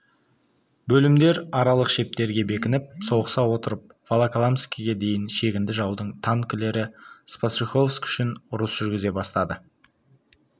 бөлімдер аралық шептерге бекініп соғыса отырып волоколамскіге дейін шегінді жаудың танкілері спас-рюховск үшін ұрыс жүргізе бастады